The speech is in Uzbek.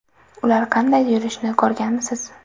Ular qanday yurishini ko‘rganmisiz?